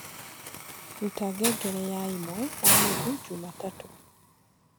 rũta ngengere yaĩmwe na nũthũ jumatatũ